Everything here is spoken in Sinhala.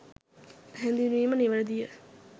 හැඳින්වීම නිවැරදි ය